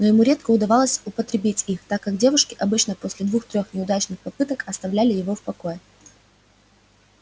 но ему редко удавалось употребить их так как девушки обычно после двух-трёх неудачных попыток оставляли его в покое